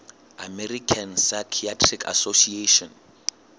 american psychiatric association